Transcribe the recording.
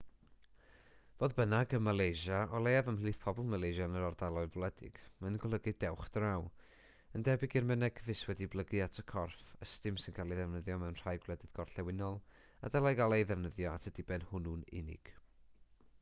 fodd bynnag ym malaysia o leiaf ymhlith pobl malaysia yn yr ardaloedd gwledig mae'n golygu dewch draw yn debyg i'r mynegfys wedi'i blygu at y corff ystum sy'n cael ei ddefnyddio mewn rhai gwledydd gorllewinol a dylai gael ei ddefnyddio at y diben hwnnw'n unig